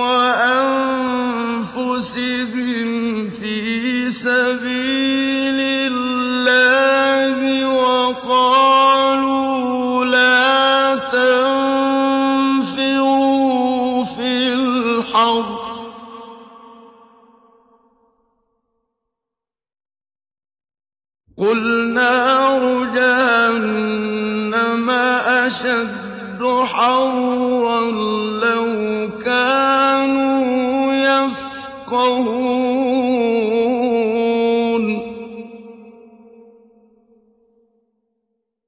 وَأَنفُسِهِمْ فِي سَبِيلِ اللَّهِ وَقَالُوا لَا تَنفِرُوا فِي الْحَرِّ ۗ قُلْ نَارُ جَهَنَّمَ أَشَدُّ حَرًّا ۚ لَّوْ كَانُوا يَفْقَهُونَ